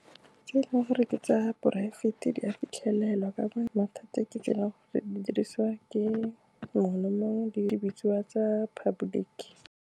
Tse e leng gore ke tsa poraefete di a fitlhelelwa ka , mathata ke tse e leng gore di dirisiwa ke mongwe le mongwe, di bitsiwa tsa public-e.